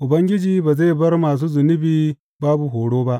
Ubangiji ba zai bar masu zunubi babu horo ba.